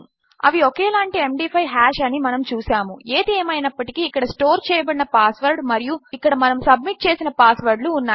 అవి ఒకేలాంటి ఎండీ5 హాష్ అని మనము చూసాము ఏది ఏమైనప్పటికీ ఇక్కడ స్టోర్ చేయబడిన పాస్ వర్డ్ మరియు ఇక్కడ మనము సబ్మిట్ చేసిన పాస్ వర్డ్ లు ఉన్నాయి